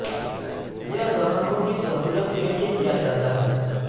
یہ گاہکوں کی سہولت کے لئے کیا جاتا ہے